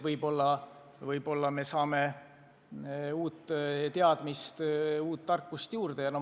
Võib-olla me saame uut teadmist, uut tarkust juurde.